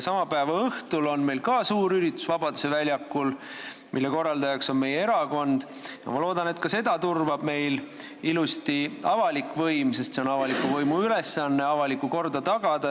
Sama päeva õhtul on ka suur üritus Vabaduse väljakul, mille korraldaja on meie erakond, ja ma loodan, et ka seda turvab ilusasti avalik võim, sest see on avaliku võimu ülesanne – avalikku korda tagada.